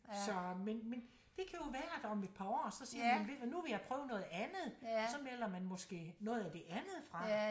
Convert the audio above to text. Så men men det kan jo være at om et par år så siger man ved du hvad nu vil jeg prøve noget andet så melder man måske noget af det andet fra